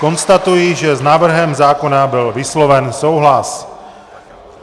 Konstatuji, že s návrhem zákona byl vysloven souhlas.